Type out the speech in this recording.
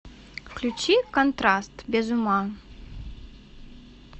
включи контраст без ума